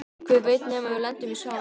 Hver veit nema við lendum í sama bekk!